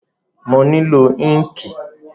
Mo nílò ínkìì